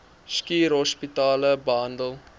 schuur hospitale behandel